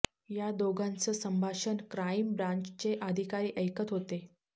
या दोघांचं संभाषण क्राइम ब्रान्चचे अधिकारी ऐकत होते